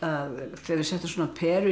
þegar við settum peru inn í